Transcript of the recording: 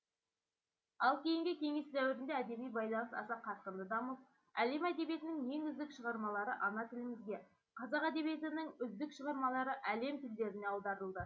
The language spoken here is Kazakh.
ал кейінгі кеңес дәуірінде әдеби байланыс аса қарқынды дамып әлем әдебиетінің ең үздік шығармалары ана тілімізге қазақ әдебиетінің үздік шығармалары әлем тілдеріне аударылды